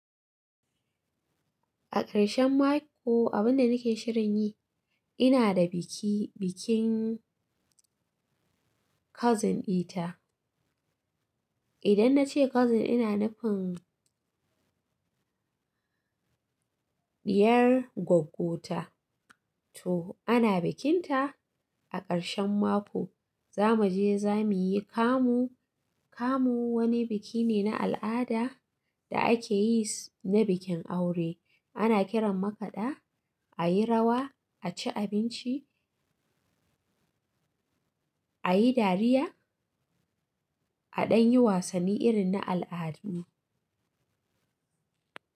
A ƙarshen mako, abin da nake shirin yi, ina da biki, bikin cousin ita. Idan nace cousin, ina nufin ɗiyar gwaggo ta. To ana bikinta a ƙarshen mako. Za mu je za muyi kamu. Kamu wani biki ne na al'ada da akeyi na bikin aure. Ana kiran makaɗa, ayi rawa, a ci abinci, ayi dariya, a dan yi wasanni irin na al'adu.